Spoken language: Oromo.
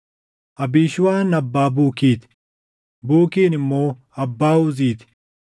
Abiishuuwaan abbaa Buukii ti; Bukiin immoo abbaa Uzii ti;